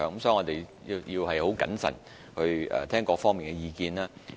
所以，我們必須很謹慎聆聽各方意見。